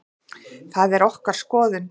Það er okkar skoðun.